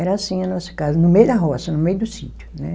Era assim a nossa casa, no meio da roça, no meio do sítio, né?